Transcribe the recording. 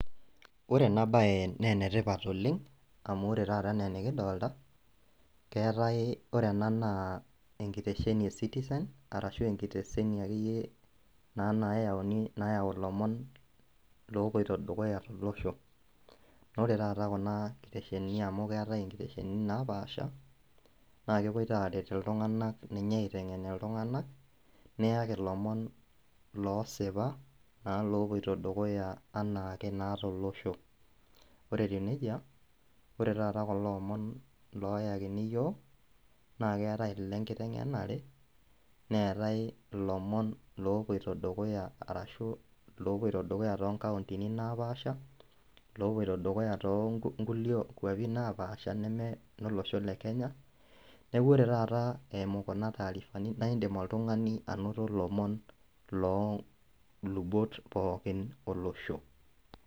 Ore ena baye nenetipat oleng' amu ore taata enaa enikidolta keetae ore ena naa enkitesheni e citizen arashu enkitesheni akeyie naa nayauni nayau ilomon lopoito dukuya tolosho nore taata kuna kiteshenini amu keetae inkiteshenini napaasha naa kepoito aret iltung'anak ninye aiteng'en iltung'anak niyaki ilomon loosipa naa lopoito dukuya anaake naa tolosho ore etiu nejia ore taata kulo omon loyakini iyiok naa keeta ile nkiteng'enare neetae ilomon lopoito dukuya arashu lopoito dukuya tonkauntini napaasha lopoito dukuya tonkulie kuapi napaasha neme inolosho le kenya niaku ore taata eimu kuna taarifani naindim oltung'ani anoto ilomon loolubot pookin olosho.